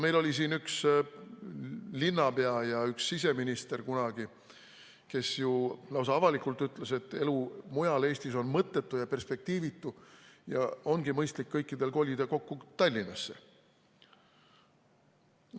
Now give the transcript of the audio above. Meil oli siin ju kunagi üks linnapea ja siseminister, kes lausa avalikult ütles, et elu mujal Eestis on mõttetu ja perspektiivitu ning ongi mõistlik kõikidel kolida kokku Tallinnasse.